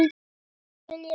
Það skil ég vel!